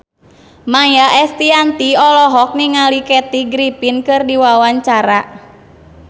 Maia Estianty olohok ningali Kathy Griffin keur diwawancara